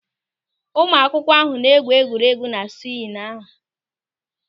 Ụmụaka ahụ na-egwu egwuregwu na swịngị ahụ.